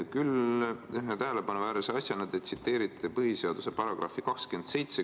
Küll te ühe tähelepanuväärse asjana tsiteerite põhiseaduse § 27.